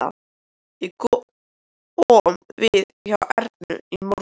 Ég kom við hjá Ernu í morgun.